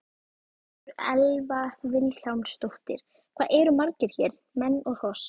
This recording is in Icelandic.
Sigríður Elva Vilhjálmsdóttir: Hvað eru margir hér, menn og hross?